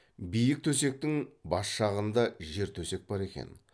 биік төсектің бас жағында жер төсек бар екен